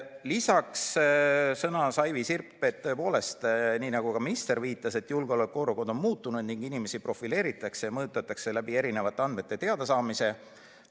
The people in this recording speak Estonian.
Lisaks sõnas Aivi Sirp, et tõepoolest, nii nagu ka minister viitas, julgeoleku olukord on muutunud ning inimesi profileeritakse, mõjutatakse erisuguste andmete teadasaamise kaudu.